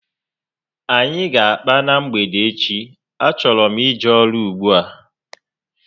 Anyị ga akpa na mgbede echi, a chọrọ m ije ọrụ ùgbúà